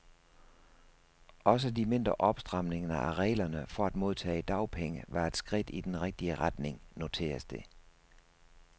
Også de mindre opstramninger af reglerne for at modtage dagpenge var et skridt i den rigtige retning, noteres det.